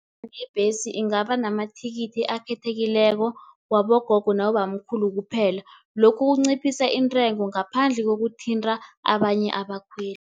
Ibhesi ingaba namathikithi akhethekileko wabogogo nabobamkhulu kuphela, lokhu kunciphisa intengo ngaphandle kokuthinta abanye abakhweli.